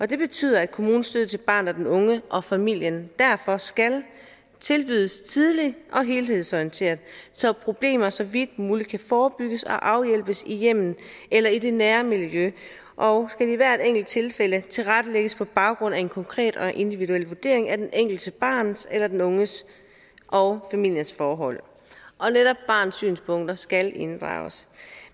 det betyder at kommunens støtte til barnet og den unge og familien derfor skal tilbydes tidligt og helhedsorienteret så problemer så vidt muligt kan forebygges og afhjælpes i hjemmet eller i det nære miljø og skal i hvert enkelt tilfælde tilrettelægges på baggrund af en konkret og individuel vurdering af det enkelte barns eller den unges og familiens forhold og netop barnets synspunkter skal inddrages